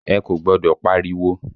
Ẹ kò gbọ́dọ̀ pariwo!